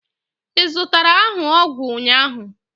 ị zụtara ahụ ọgwụ ụnyaahụ?